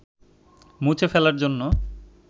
মুছে ফেলার জন্য